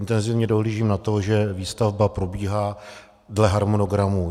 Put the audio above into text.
Intenzivně dohlížím na to, že výstavba probíhá dle harmonogramu.